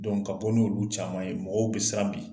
ka bɔ n'olu caman ye , mɔgɔw be siran bi.